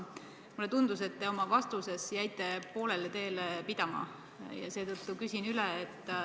Mulle tundus, et te oma vastuses jäite poolele teele pidama, ja seetõttu küsin üle.